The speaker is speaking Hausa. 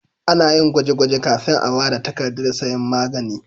Ana yin gwaje-gwaje kafin a ba da takardar sayan magani.